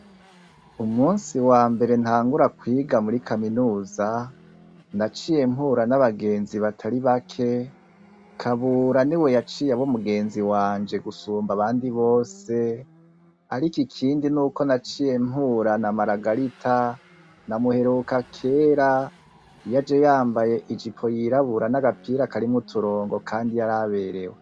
Umusi wa mbere ntangura kwiga muri kaminuza naciye mpura n'abagenzi batari bake kabura ni we yaciye abo mugenzi wanje gusumba abandi bose, ariko ikindi n'uko naciye mpura na maragarita namuheruka kera yaje yambaye ijipo yirabura n'agapira karimwouturongo, kandi yaraberewe.